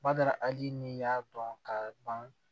Bada aji ni y'a dɔn ka ban